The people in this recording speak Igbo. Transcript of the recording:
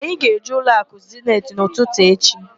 Anyị ga-eje ụlọakụ Zeniti n'ụtụtụ echi.